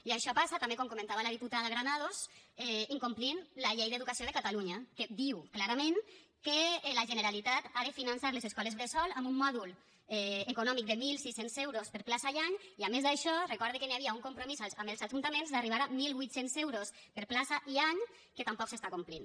i això passa també com comentava la diputada granados incomplint la llei d’educació de catalunya que diu clarament que la generalitat ha de finançar les escoles bressol amb un mòdul econòmic de mil sis cents euros per plaça i any i a més d’això recorda que hi havia un compromís amb els ajuntaments d’arribar a mil vuit cents euros per plaça i any que tampoc s’està complint